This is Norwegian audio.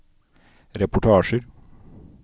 reportasjer